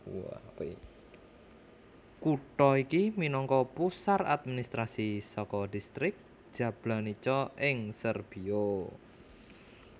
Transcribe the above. Kutha iki minangka pusar administrasi saka Dhistrik Jablanica ing Serbia